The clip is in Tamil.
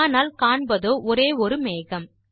ஆனால் காண்பதோ ஒரே ஒரு மேகம்